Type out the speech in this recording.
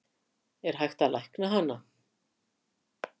Er hægt að lækna hana?